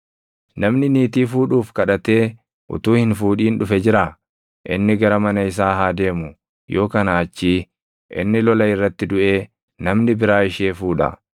Namni niitii fuudhuuf kadhatee utuu hin fuudhin dhufe jiraa? Inni gara mana isaa haa deemu; yoo kanaa achii inni lola irratti duʼee namni biraa ishee fuudha.”